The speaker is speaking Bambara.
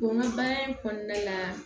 Bon n ka baara in kɔnɔna la